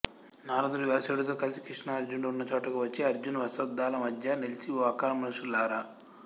నారదుడు వ్యాసుడితో కలిసి కృష్ణార్జునులు ఉన్న చోటుకు వచ్చి అర్జున అశ్వత్థాల మధ్య నిలిచి ఓ అకల్మషులారా